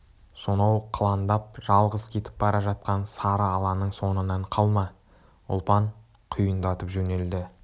сонау қылаңдап жалғыз кетіп бара жатқан сары аланың соңынан қалма ұлпан құйындатып жөнелді